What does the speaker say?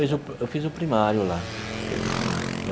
Veja eu fiz o primário lá, fiz o primário.